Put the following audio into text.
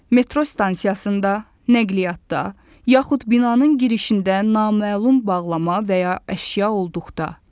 Metro stansiyasında, nəqliyyatda, yaxud binanın girişində naməlum bağlama və ya əşya olduqda.